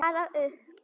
Bara upp!